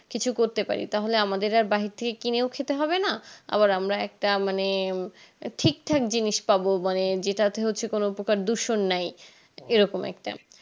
কিছু করতে পারি তাহলে আমাদেরকে আর বাহির থেকে কিনে খেতে হবে না আবার আমরা একটা মানে ঠিকঠাক জিনিস পাব মানে যেটা হচ্ছে কোন প্রকার দূষণ নাই এরকম একটা